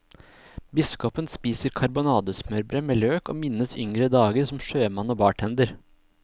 Biskopen spiser karbonadesmørbrød med løk og minnes yngre dager som sjømann og bartender.